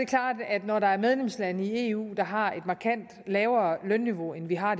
klart at når der er medlemslande i eu der har et markant lavere lønniveau end vi har